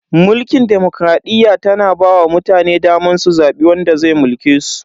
Mulkin demokradiyya tana ba wa mutane daman su zabi wanda zai mulke su.